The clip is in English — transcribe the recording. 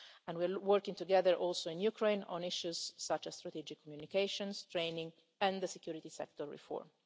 We are also working together in Ukraine on issues such as strategic communications, training and security sector reform.